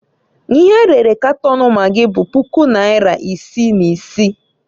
Ihe erere Katon magị bụ puku naịra isi na isi.